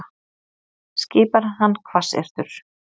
skipar hann hvassyrtur.